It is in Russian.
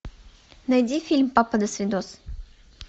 найди фильм папа досвидос